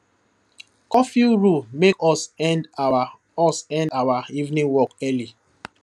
curfew rule make us end our us end our evening walk early